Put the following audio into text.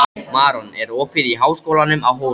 Maron, er opið í Háskólanum á Hólum?